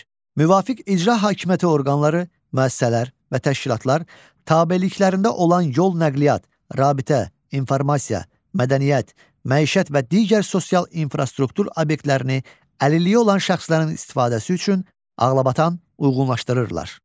Müvafiq icra hakimiyyəti orqanları, müəssisələr və təşkilatlar tabeliklərində olan yol nəqliyyat, rabitə, informasiya, mədəniyyət, məişət və digər sosial infrastruktur obyektlərini əlilliyi olan şəxslərin istifadəsi üçün ağlabatan uyğunlaşdırırlar.